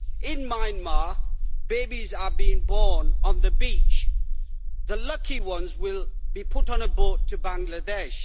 In Myanmar babies are being born on the beach. The lucky ones will be put on a boat to Bangladesh.